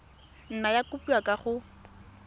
nna ya kopiwa kwa go